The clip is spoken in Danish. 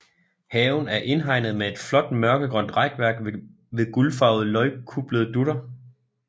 Haven er indhegnet med et flot mørkegrønt rækværk ved guldfarvede løgkuplede dutter